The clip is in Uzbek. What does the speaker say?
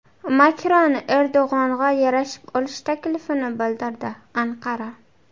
Makron Erdo‘g‘onga yarashib olish taklifini bildirdi Anqara.